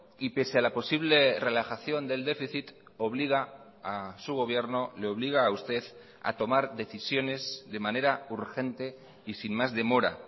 y pese a la posible relajación del déficit obliga a su gobierno le obliga a usted a tomar decisiones de manera urgente y sin más demora